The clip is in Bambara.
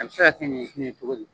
A bɛ se ka kɛ ɲitin ye cogo min.